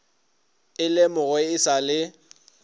e lemogwe e sa le